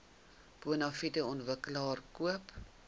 bonafide ontwikkelaar koop